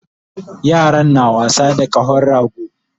Yaran na wasa da kahon rago